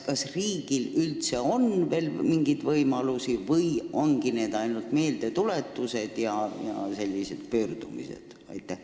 Kas riigil üldse on veel mingeid võimalusi või peabki ta piirduma meeldetuletuste ja muude pöördumistega?